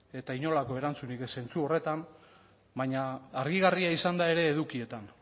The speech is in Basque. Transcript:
eta inolako erantzunik zentzu horretan baina argigarria izan da ere